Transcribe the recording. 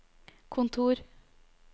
kontor